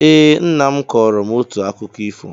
Ee, Nna nna m kọọrọ m otu akụkọ ifo